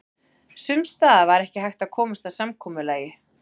Sums staðar var ekki hægt að komast að samkomulagi.